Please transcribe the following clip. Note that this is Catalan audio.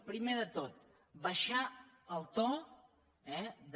pri·mer de tot abaixar el to eh de